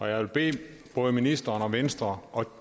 jeg vil bede både ministeren og venstre og